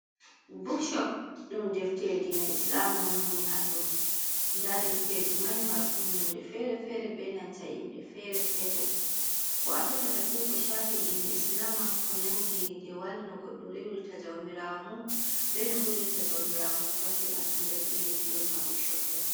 Bukshop! Ɗum defte diina islama on woni haɗɗo. Nda defteeji mai, marɗum nonde feere-feere be nanta inɗe feere-feere. Ko a tefata fuu, ko shafi diina islama, ko nangi dewal, no goɗɗo rewirta jawmirawo mum, bee no hulirta jawmirawo mum pat o heɓan haa nder ɗereji woni ha bukshop ɗo.